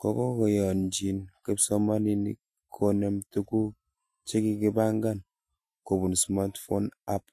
kokokiyonjin kipsomanink konem tuguk chekikibangan kobun "smartphone app"